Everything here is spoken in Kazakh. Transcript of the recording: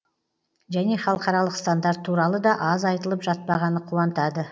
және халықаралық стандарт туралы да аз айтылып жатпағаны қуантады